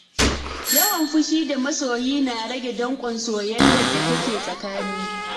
Yawan fushi da masoyi na rage danƙon soyayyar da take tsakani.